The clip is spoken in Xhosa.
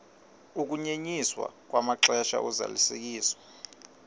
ukunyenyiswa kwamaxesha ozalisekiso